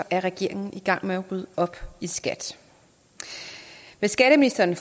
er regeringen i gang med at rydde op i skat med skatteministeren